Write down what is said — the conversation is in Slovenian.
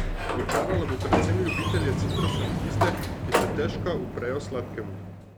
Očarala bo predvsem ljubitelje citrusov in tiste, ki se stežka uprejo sladkemu.